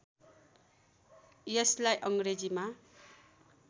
यसलाई अङ्ग्रेजीमा